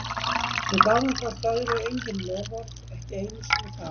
Og við gáfum hvort öðru engin loforð, ekki einu sinni þá.